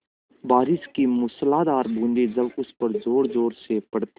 बारिश की मूसलाधार बूँदें जब उस पर ज़ोरज़ोर से पड़ती हैं